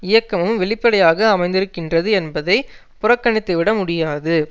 இயக்கமும் வெளிப்படையாக அமைந்திருக்கின்றது என்பதை புறக்கணித்துவிட முடியாது